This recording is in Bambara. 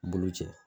Boloci